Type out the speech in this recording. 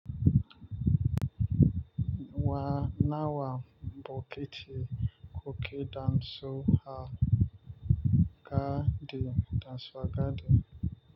Wa nawa bokiti kuke danso a ga di danso a gadi?